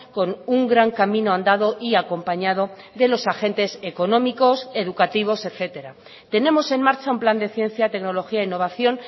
con un gran camino andado y acompañado de los agentes económicos educativos etcétera tenemos en marcha un plan de ciencia tecnología e innovación